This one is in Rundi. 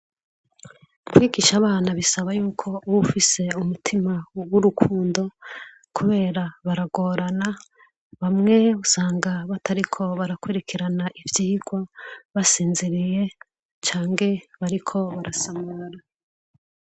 Kwigisha abana bisaba y'uko uba ufise umutima w'urukumdo, kubera baragorana. Bamwe usanga batariko barakurikirana ivyigwa, basinziriye, canke bariko barasamara.